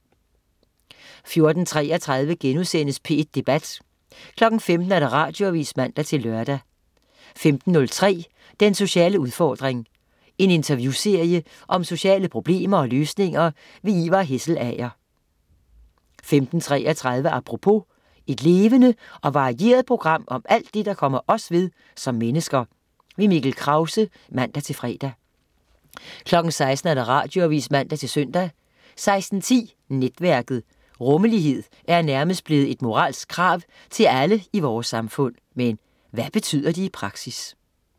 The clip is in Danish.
14.33 P1 Debat* 15.00 Radioavis (man-lør) 15.03 Den sociale udfordring. En interviewserie om sociale problemer og løsninger. Ivar Hesselager 15.33 Apropos. Et levende og varieret program om alt det, der kommer os ved som mennesker. Mikkel Krause (man-fre) 16.00 Radioavis (man-søn) 16.10 Netværket. Rummelighed er nærmest blevet et moralsk krav til alle i vores samfund. Men hvad betyder det i praksis